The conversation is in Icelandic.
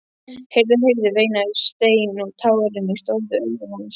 Heyrðu, heyrðu veinaði Stein og tárin stóðu í augum hans.